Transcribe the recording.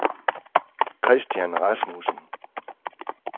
Christian Rasmussen